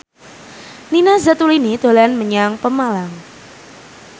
Nina Zatulini dolan menyang Pemalang